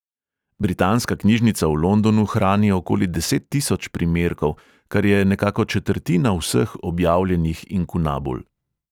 Britanska knjižnica v londonu hrani okoli deset tisoč primerkov, kar je nekako četrtina vseh objavljenih inkunabul.